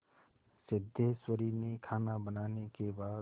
सिद्धेश्वरी ने खाना बनाने के बाद